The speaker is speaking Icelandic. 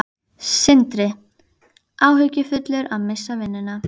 Sindri: Áhyggjufullur að missa vinnuna?